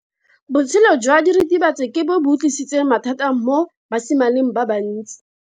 Botshelo jwa diritibatsi ke bo tlisitse mathata mo basimaneng ba bantsi.